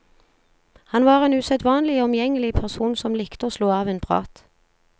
Han var en usedvanlig omgjengelig person som likte å slå av en prat.